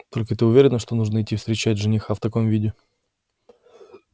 только ты уверена что нужно идти встречать жениха в таком виде